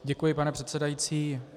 Děkuji, pane předsedající.